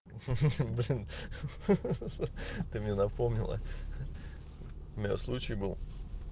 ха-ха блин ха-ха ты мне напомнила ха-ха у меня случай был